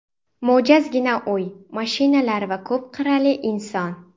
Mo‘jazgina uy, mashinalar va ko‘p qirrali inson.